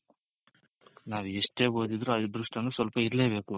ನಾವ್ ಎಷ್ಟೇ ಓದಿದ್ರು ಆ ಅದೃಷ್ಟ ಅನ್ನೋದು ಸ್ವಲ್ಪ ಇರ್ಲೆಬೇಕು.